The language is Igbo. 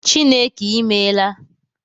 Chineke I meela